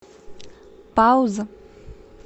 пауза